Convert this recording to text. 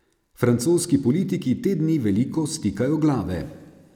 Francoski politiki te dni veliko stikajo glave.